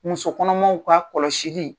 Muso kɔnɔmaw ka kɔlɔsili.